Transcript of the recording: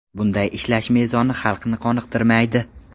Bunday ishlash mezoni xalqni qoniqtirmaydi.